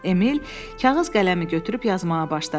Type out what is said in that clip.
Emil kağız qələmi götürüb yazmağa başladı.